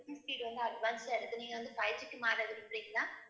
speed வந்து advance ஆ இருக்கு. நீங்க வந்து fiveG மாற விரும்புறீங்களா